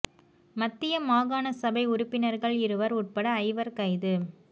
மத்திய மாகாண சபை உறுப்பினர்கள் இருவர் உட்பட ஐவர் கைது